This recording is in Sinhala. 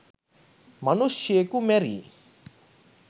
මනුෂ්‍යයකු මැරී